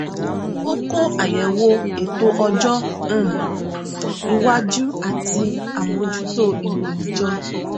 ó kó àyẹwò ètò ọjọ um iwájú àti àmójútó ìròyìn jọ